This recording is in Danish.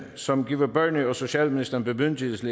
som giver børne og socialministeren bemyndigelse